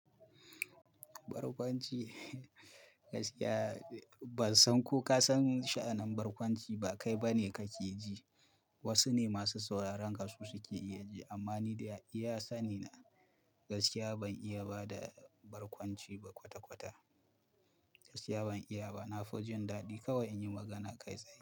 Barkwanci, gaskiya ban san ko ka san sha'anin barkwanci ba kai bane kake ji. Wasu ne masu sauraron ka suke iya ji amma ni da iya sani na, gaskiya ban iya ba da barkwanci ba kwata-kwata. Gaskiya ban iya ba. Na fi jin daɗi kawai in yi magana kai tsaye.